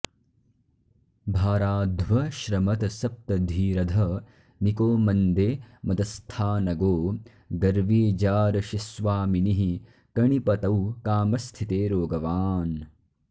भाराध्वश्रमतसप्तधीरधनिको मन्दे मदस्थानगो गर्वी जारशिस्वामिनिः कणिपतौ कामस्थिते रोगवान्